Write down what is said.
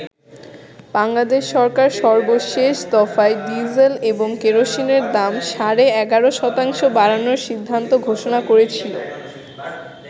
বাংলাদেশ সরকার সর্বশেষ দফায় ডিজেল এবং কেরোসিনের দাম সাড়ে ১১ শতাংশ বাড়ানোর সিদ্ধান্ত ঘোষণা করেছিল।